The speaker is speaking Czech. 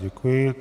Děkuji.